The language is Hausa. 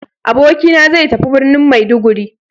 Abokina zai tafi birnin Maiduguri.